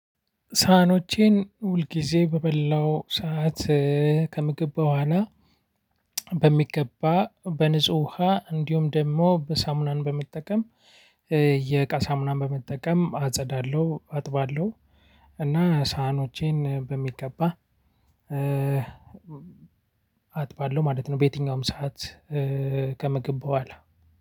ሳህኖቼን ሁልጊዜ በበላው ሰዓት ከምግብ በኋላ በሚገባ በንጹህ ውሃ እንዲሁም ደግሞ በሳሙናን በመጠቀም የቃ ሳሙናን በመጠቀም አጸዳለሁ አጥባለሁ እና ሳህኖቼን በሚገባ አጥባለሁ ማለት ነው። በየትኛውም ሰዓት ከምግብ በኋላ